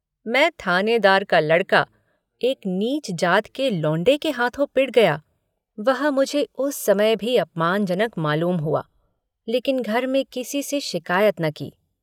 मै थानेदार का लड़का एक नीच जात के लौंडे के हाथों पिट गया यह मुझे उस समय भी अपमानजनक मालूम हुआ लेकिन घर में किसी से शिकायत न की।